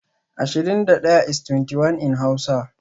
Ashirin da fans is (ashirin da daya) in hausa